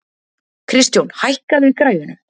Kristjón, hækkaðu í græjunum.